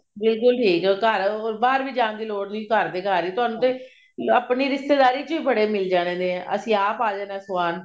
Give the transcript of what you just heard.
ਬਿਲਕੁਲ ਠੀਕ ਹੈ ਉਹ ਘਰ ਬਾਹਰ ਵੀ ਜਾਣ ਦੀ ਲੋੜ ਨੀ ਘਰ ਦੇ ਘਰ ਹੀ ਤੁਹਾਨੂੰ ਤੇ ਆਪਣੀ ਰਿਸ਼ਤੇਦਾਰੀ ਚ ਬੜੇ ਮਿਲ ਜਾਣੇ ਅਸੀਂ ਆਪ ਜਾਣਾ ਸਵਾਉਣ